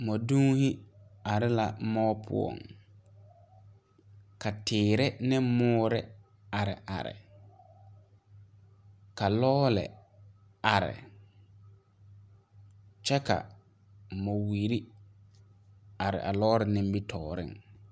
Mɔdonne la are muo pʋɔŋ kyɛ ka tiire ane muo a are .Lɔɔre meŋ arɛɛ la kyɛ ka mɔwire are.